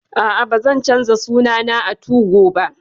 A'a, ba zan canza suna na a 2go ba